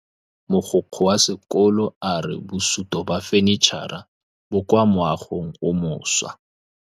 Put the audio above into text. Mogokgo wa sekolo a re bosutô ba fanitšhara bo kwa moagong o mošwa.